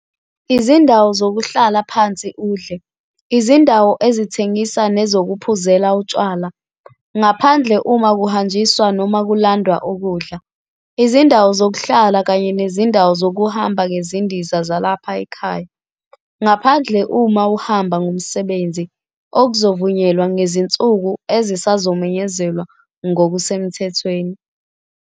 Izindawo zokuhlala phansi udle, izindawo ezithengisa nezokuphuzela utshwala, ngaphandle uma kuhanjiswa noma kulandwe ukudla. Izindawo zokuhlala kanye nezindawo zokuhamba ngezindiza zalapha ekhaya, ngaphandle uma uhamba ngomsebenzi, okuzovunyelwa ngezinsuku ezisazomenyezelwa ngokusemthethweni.